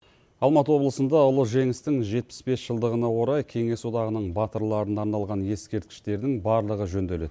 алматы облысында ұлы жеңістің жетпіс бес жылдығына орай кеңес одағының батырларына арналған ескерткіштердің барлығы жөнделеді